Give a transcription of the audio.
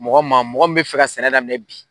Mɔgɔ man, mɔgɔ min bɛ fɛ ka sɛnɛ daminɛ bi.